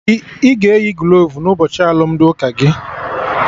Ị ga-eyi glovu n'ụbọchị alụmdi ụka gị